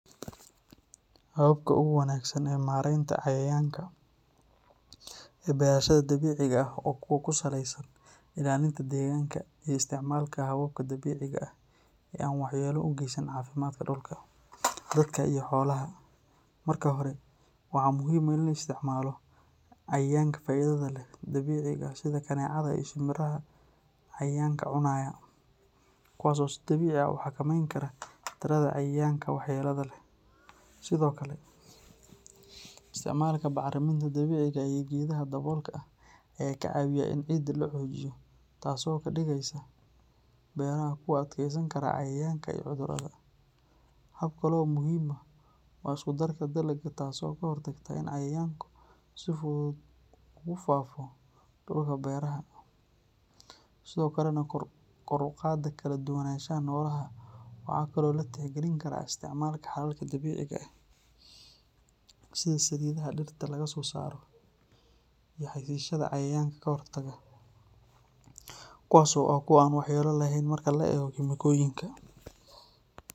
Hababka ugu wanaagsan ee mareynta cayayanka ee beerashada dabiiciga ah waa kuwo ku saleysan ilaalinta deegaanka iyo isticmaalka hababka dabiiciga ah ee aan waxyeello u geysan caafimaadka dhulka, dadka iyo xoolaha. Marka hore, waxaa muhiim ah in la isticmaalo cayayaanka faa’iidada leh ee dabiiciga ah sida kaneecada iyo shinbiraha cayayaanka cunaya, kuwaas oo si dabiici ah u xakameyn kara tirada cayayaanka waxyeelada leh. Sidoo kale, isticmaalka bacriminta dabiiciga ah iyo geedaha daboolka ah ayaa ka caawiya in ciidda la xoojiyo, taasoo ka dhigaysa beeraha kuwo u adkeysan kara cayayaanka iyo cudurrada. Hab kale oo muhiim ah waa isku-darka dalagga, taas oo ka hortagta in cayayaanka si fudud u ku faafo dhulka beeraha, sidoo kalena kor u qaada kala duwanaanshaha noolaha. Waxaa kale oo la tixgelin karaa isticmaalka xalalka dabiiciga ah sida saliidaha dhirta laga soo saaro iyo xashiishyada cayayaanka ka hortaga, kuwaas oo ah kuwo aan waxyeello lahayn marka loo eego kiimikooyinka.